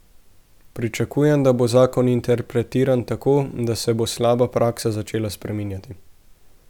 Pričakujem, da bo zakon interpretiran tako, da se bo slaba praksa začela spreminjati.